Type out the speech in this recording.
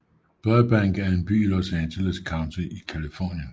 Burbank er en by i Los Angeles County i Californien